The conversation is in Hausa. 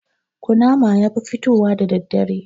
Ƙunama yafi fitowa da daddare